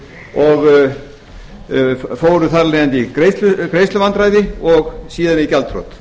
og fóru þar af leiðandi í greiðsluvandræði og síðan í gjaldþrot